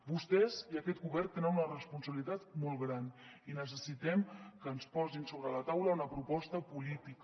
vostès i aquest govern tenen una responsabilitat molt gran i necessitem que ens posin sobre la taula una proposta política